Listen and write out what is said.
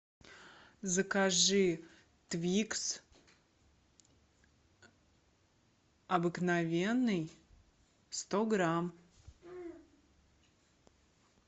закажи твикс обыкновенный сто грамм